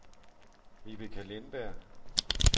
Vibeke Lindberg